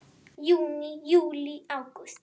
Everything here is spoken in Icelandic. Júní Júlí Ágúst